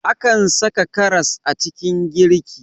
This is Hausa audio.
Akan saka karas a cikin girki